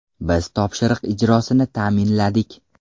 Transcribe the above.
Biz topshiriq ijrosini ta’minladik.